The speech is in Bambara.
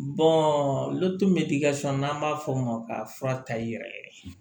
n'an b'a fɔ o ma k'a fura ta i yɛrɛ ye